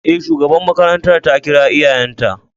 E, shugaban makarantar ta kira iyayenta.